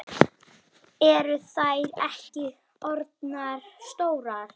Alltaf þegar þau hittast